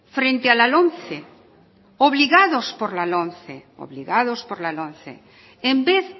frente a la lomce obligados por la lomce en vez